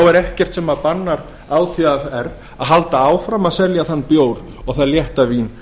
er ekkert sem bannar átvr að halda áfram að selja þann bjór og það létta vín